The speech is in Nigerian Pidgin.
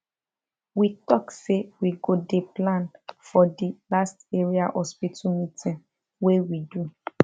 we talk say we go dey plan for the last area hospital meeting wey we do